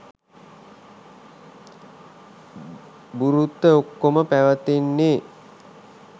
බුරුත්ත ඔක්කොම පැවතෙන්නේ